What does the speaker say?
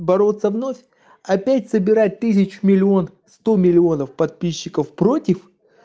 бороться вновь опять собирать тысяч миллион сто миллионов подписчиков против